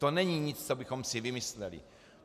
To není nic, co bychom si vymysleli.